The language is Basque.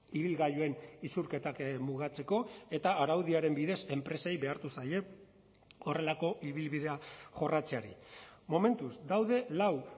ibilgailuen isurketak mugatzeko eta araudiaren bidez enpresei behartu zaie horrelako ibilbidea jorratzeari momentuz daude lau